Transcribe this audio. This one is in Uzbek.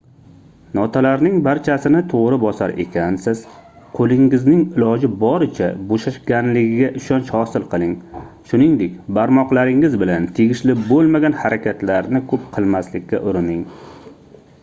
notalarning barchasini toʻgʻri bosar ekansiz qoʻlingizning iloji boricha boʻshashganligiga ishonch hosil qiling shuningdek barmoqlaringiz bilan tegishli boʻlmagan harakatlarni koʻp qilmaslikka urining